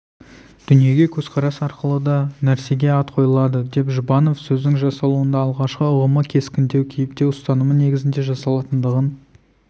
дүниеге көзқарас арқылы да нәрсеге ат қойылады деп жұбанов сөздің жасалуында алғашқы ұғымы кескіндеу кейіптеу ұстанымы негізінде жасалатындығын